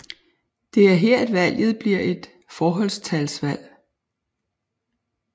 Det er her at valget bliver et forholdstalsvalg